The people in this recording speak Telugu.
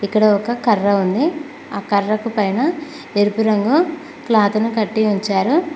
ఇక్కడ ఒక కర్ర ఉంది ఆ కర్రకు పైన ఎరుపు రంగు క్లాత్ ను కట్టి ఉంచారు.